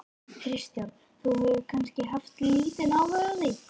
Kristján: Þú hefur kannski haft lítinn áhuga á því?